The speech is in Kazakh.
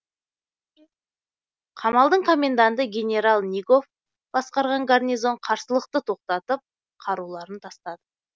қамалдың коменданты генерал нигоф басқарған гарнизон қарсылықты тоқтатып қаруларын тастады